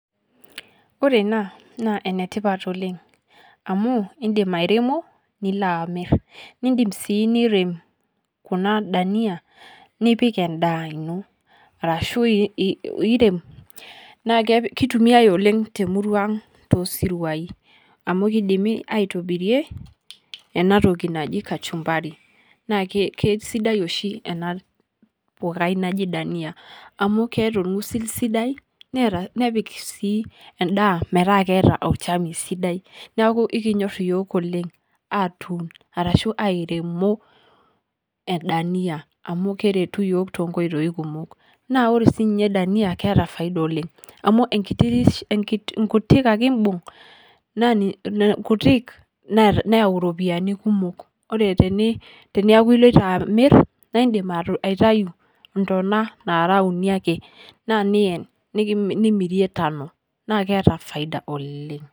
Ore ena naa enetipaat oleng amu idiim airemuu niloo amiir, nidiim sii nireem kuna dhania nipiik endaa enoo arashu iireem. Naa keitumia oleng te murua ang' to siruaai amu keedimii aitobirie ena ntoki najii kachumbari naa kesidai oshi ena poorai najii dhania amu keeta olmosiir sidai neeta napiik sii endaa metaa eata olchaami sidai. Naaku ekinyoor yook oleng etuun arashu aremoo endania amu keretuu yook te nkotoi kumook. Naa ore sii ninye dhania keata faida oleng amu kuutiik ake iibung' naa kuutiik naiyau ropiani kumook. Ore tiniaku elotoo amiir naa idiim aitayuu ntunaa naara uuni ake naa niyaan nimiirie tano naaku keeta faida oleng.